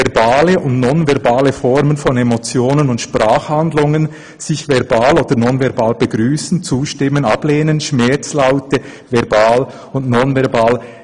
Verbale und nonverbale Formen von Emotionen und Sprachhandlungen, sich verbal oder nonverbal begrüssen, zustimmen, ablehnen, Schmerzlaute verbal und nonverbal[…]»